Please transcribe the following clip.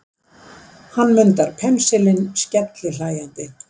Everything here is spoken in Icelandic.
Hann mundar pensilinn skellihlæjandi.